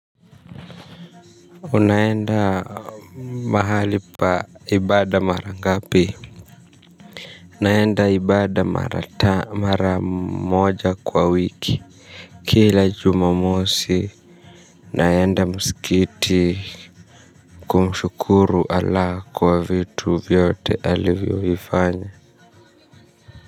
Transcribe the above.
Unaenda mahali pa ibada mara ngapi. Naenda ibada mara moja kwa wiki. Kila jumamosi. Naenda mskiti kumshukuru ala kwa vitu vyote alivyovifanya.